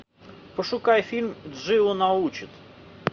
пошукай фильм джио научит